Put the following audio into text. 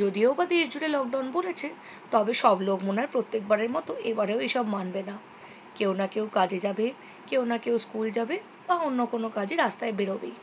যদিও বা দেশ জুড়ে lockdown বলেছে তবে সব লোক মনে হয় প্রত্যেক বারের মতো এবারেও এসব মানবে না কেউ না কেউ কাজে যাবে কেউ না কেউ school যাবে বা অন্য কোনও কাজে রাস্তায় বেরোবেই